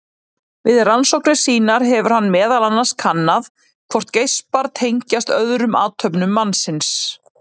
Við rannsóknir sínar hefur hann meðal annars kannað hvort geispar tengist öðrum athöfnum mannsins.